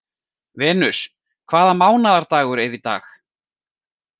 Venus, hvaða mánaðardagur er í dag?